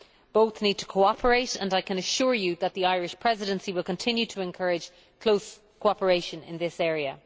Both need to cooperate, and I can assure you that the Irish Presidency will continue to encourage close cooperation in this area.